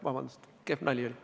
Vabandust, kehv nali oli!